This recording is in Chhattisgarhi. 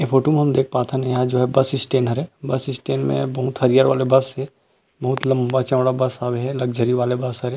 ऐ फोटो में हम देख पाथन यहाँ जो बस स्टैंड हरे बस स्टैंड में बहुत हरियर वाले बस हे बहुत लम्बा चौड़ा बस हवे लक्ज़री वाला बस हरे --